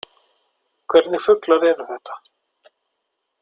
Hvernig fuglar eru þetta?